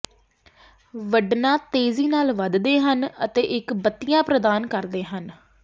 ਵੱਢਣਾਂ ਤੇਜ਼ੀ ਨਾਲ ਵਧਦੇ ਹਨ ਅਤੇ ਇੱਕ ਬੱਤੀਆਂ ਪ੍ਰਦਾਨ ਕਰਦੇ ਹਨ